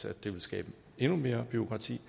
at det ville skabe endnu mere bureaukrati